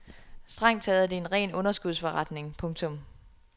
Strengt taget er det en ren underskudsforretning. punktum